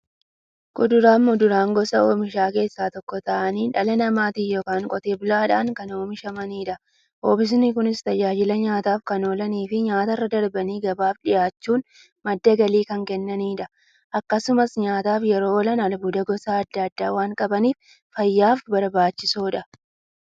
Kuduraafi muduraan gosa oomishaa keessaa tokko ta'anii, dhala namaatin yookiin Qotee bulaadhan kan oomishamaniidha. Oomishni Kunis, tajaajila nyaataf kan oolaniifi nyaatarra darbanii gabaaf dhiyaachuun madda galii kan kennaniidha. Akkasumas nyaataf yeroo oolan, albuuda gosa adda addaa waan qabaniif, fayyaaf barbaachisoodha.